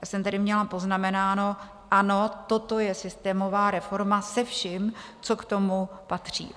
Já jsem tady měla poznamenáno: ano, toto je systémová reforma se vším, co k tomu patří.